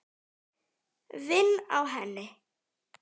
Vinn á henni.